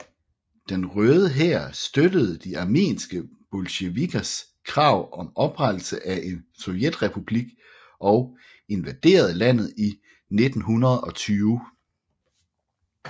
Den Røde Hær støttede de armenske bolsjevikkers krav om oprettelse af en sovjetrepublik og invaderede landet i 1920